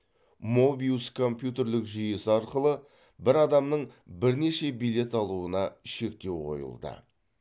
мобиус компьютерлік жүйесі арқылы бір адамның бірнеше билет алуына шектеу қойылды